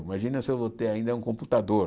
Imagina se eu vou ter ainda um computador.